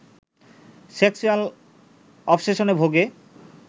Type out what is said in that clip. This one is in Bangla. সেক্সুয়াল অবসেশনে ভোগে